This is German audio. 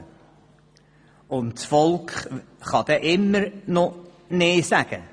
Und das Volk kann dann immer noch nein sagen.